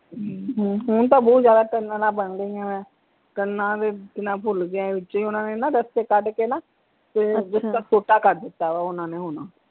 ਹਮ ਹੁਣ ਤਾਂ ਬਹੁਤ ਜਿਆਦਾ tunnels ਬਣ ਗਈਆਂ ਵਾ ਭੁੱਲ ਗਿਆ ਵਿਚੇ ਹੀ ਓਹਨਾ ਨੇ ਨਾ ਰਸਤੇ ਕੱਢ ਕੇ ਨਾ ਤੇ ਛੋਟਾ ਕਰ ਦਿੱਤਾ ਵਾ ਹੁਣ ਨੇ ਹੁਣ।